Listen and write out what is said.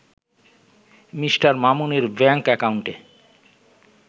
Me. মামুনের bank অ্যাকাউন্টে